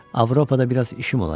Avropada biraz işim olacaq.